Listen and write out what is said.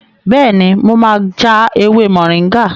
Bẹ́ẹ̀ni, mo ma ja ewé mọ̀ríngà